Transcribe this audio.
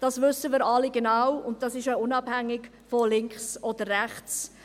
Dies wissen wir alle genau, und es ist auch unabhängig von links oder rechts.